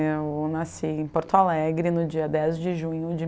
Eu nasci em Porto Alegre no dia dez de junho de